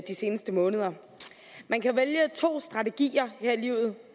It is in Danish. de seneste måneder man kan vælge mellem to strategier her i livet